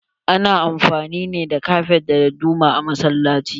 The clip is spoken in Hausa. Ana amfani ne da Kafet da dadduma a masallaci.